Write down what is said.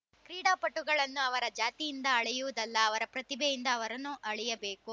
ಕ್ರೀಡಾಪಟುಗಳನ್ನು ಅವರ ಜಾತಿಯಿಂದ ಅಳೆಯುವುದಲ್ಲ ಅವರ ಪ್ರತಿಭೆಯಿಂದ ಅವರನ್ನು ಅಳಿಯಬೇಕು